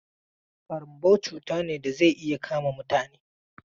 ƙarambau cuta ne da zai iya kama mutane.